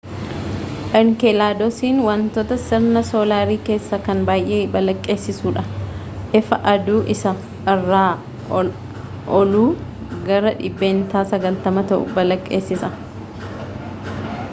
inkelaadosiin wantoota sirna soolaarii keessaa kan baay'ee balaqqeessa'uudha ifa aduu isa irra ooluu gara dhibbeentaa 90 ta'u balaqqeessisa